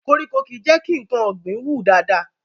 Koríko kìí jẹ́ kí nǹkan ọ̀gbìn wù dáadáa